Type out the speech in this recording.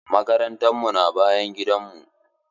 Makarantan mu na bayan gidan mu.